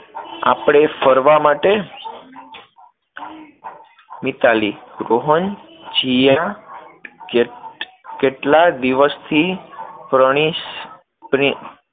આપણે ફરવા માટે. મિતાલી રોહન, જીયા કેટલા દિવસથી